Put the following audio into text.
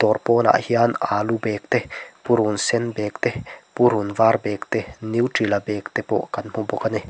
dawr pawn ah hian alu bag te purun sen bag te purun var bag nutella bag te pawh kan hmu bawk a ni.